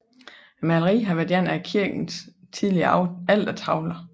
Maleriet har været en del af kirkens tidligere altertavle